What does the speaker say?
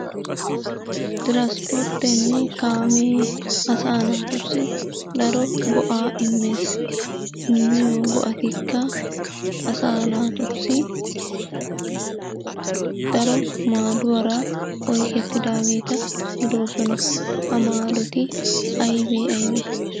Tiraspporttenne kaamee asaa naatussi daro go'aa immees. Immiyoo go"attikka asaa naatussi daro maaduwara oykettidaageta gidoosona. Ha maadoti aybee aybee?